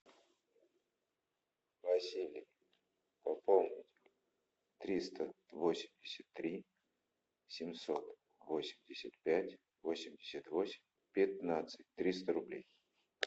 василий пополнить триста восемьдесят три семьсот восемьдесят пять восемьдесят восемь пятнадцать триста рублей